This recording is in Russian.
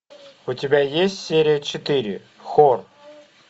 у тебя есть серия четыре хор